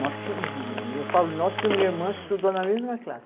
Nós tínhamos. Eu eu falo nós porque minha irmã estudou na mesma classe.